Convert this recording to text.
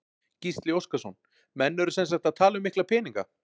Gísli Óskarsson: Menn eru sem sagt að tala um mikla peninga?